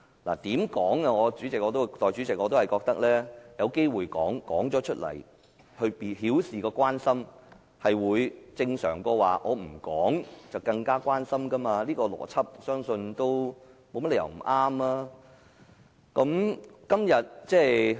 無論如何，代理主席，我覺得把握機會表達意見，以表示關心，總比不表達意見好，我相信這個邏輯沒有甚麼不對。